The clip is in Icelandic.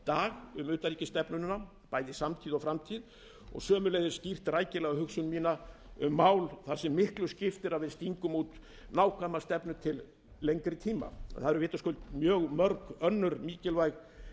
dag um utanríkisstefnuna bæði í samtíð og framtíð og sömuleiðis skýrt rækilega hugsun mína um mál þar sem miklu skiptir að við stingum út nákvæma stefnu til lengri tíma það eru vitaskuld mörg önnur mikilvæg